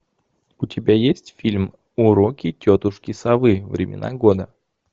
у тебя есть фильм уроки тетушки совы времена года